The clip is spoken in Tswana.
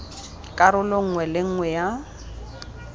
karolo nngwe le nngwe ya